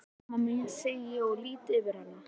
Sæl mamma mín, segi ég og lýt yfir hana.